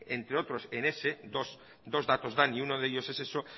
entre otros en ese dos datos dan y uno de ellos es eso